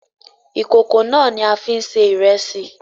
ìkòkò náà ni a fi ń se ìrẹsì